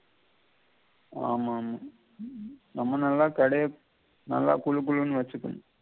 ஆமாமா நம்ம நல்லா கடைய நல்லா குழு குளுன்னு வெச்சுக்கணும்